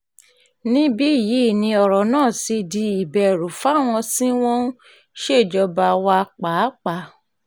níbí yìí ni ọ̀rọ̀ náà ti di ìbẹ̀rù fáwọn tí wọ́n ń ṣèjọba wa pàápàá